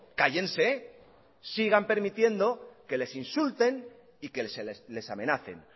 cállense sigan permitiendo que les insulten y que les amenacen